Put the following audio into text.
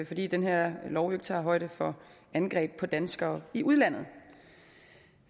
fordi den her lov jo ikke tager højde for angreb på danskere i udlandet